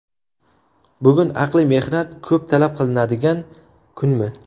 Bugun aqliy mehnat ko‘p talab qilinadigan kunmi?